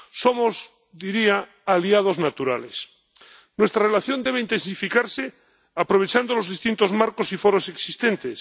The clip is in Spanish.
Somos, diría, aliados naturales. Nuestra relación debe intensificarse, aprovechando los distintos marcos y foros existentes.